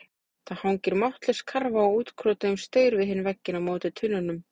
Það hangir máttlaus karfa á útkrotuðum staur við hinn vegginn á móti tunnunum.